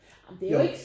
Ja